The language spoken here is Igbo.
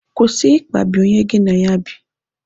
Kwụsị ịkpagbu onye gị na ya bi.